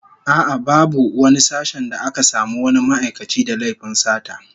A'a, babu wani sashen da aka samu wani ma'aikaci da laifin sata